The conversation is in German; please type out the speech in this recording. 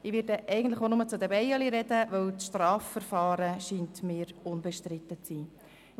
Ich möchte eigentlich auch nur über die Bienen sprechen, weil mir die Strafverfahren unbestritten zu sein scheinen.